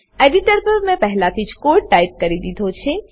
editor પર મેં પહેલાથી જ કોડ ટાઈપ કરી દીધો છે